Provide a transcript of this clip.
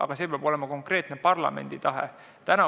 Ent see peab olema konkreetne parlamendi tahe.